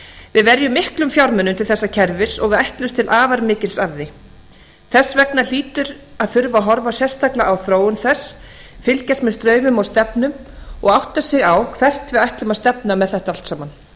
við verjum miklum fjármunum til þessa kerfis og við ætlumst til afar mikils af því þess vegna hlýtur að þurfa að horfa sérstaklega á þróun þess fylgjast með straumum og stefnum og átta sig á hvert við ætlum að stefna með þetta allt saman